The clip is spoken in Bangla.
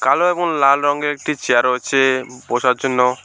কালো এবং লাল রঙের একটি চেয়ার রয়েছে বসার জন্য।